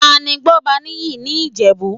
Tani Gbọ́baníyì ní Ìjẹ̀bú?